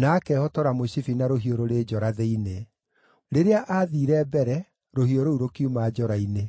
na akehotora mũcibi na rũhiũ rũrĩ njora thĩinĩ. Rĩrĩa aathiire mbere, rũhiũ rũu rũkiuma njora-inĩ.